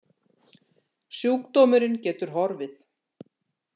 Sjúkdómurinn getur horfið.